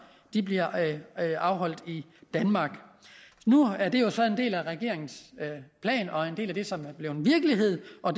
der bliver afholdt i danmark nu er det jo så en del af regeringens plan og en del af det som er blevet virkelighed og